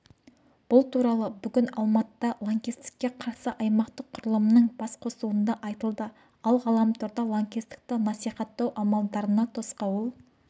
бұл туралы бүгін алматыда лаңкестікке қарсы аймақтық құрылымның басқосуында айтылды ал ғаламторда лаңкестікті насихаттау амалдарына тосқауыл